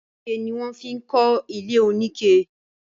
Ike ni wọ́n fi ń kọ ilé oníke